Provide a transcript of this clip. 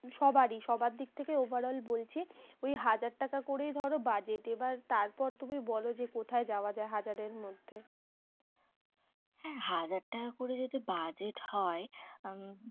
সবারই সবার দিক থেকেই overall বলছি। ওই হাজার টাকা করে ধরো budget এবার তারপর তুমি বলো যে কোথায় যাওয়া যায় হাজারের মধ্যে। হ্যাঁ হাজার টাকা যদি budget হয়